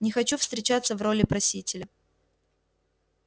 не хочу встречаться в роли просителя